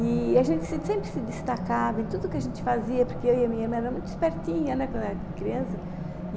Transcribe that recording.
E a gente se sempre se destacava em tudo o que a gente fazia, porque eu e a minha irmã era muito espertinha, né, quando éramos criança.